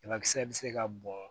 Banakisɛ bɛ se ka bɔn